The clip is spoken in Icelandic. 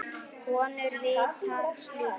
Konur vita slíkt.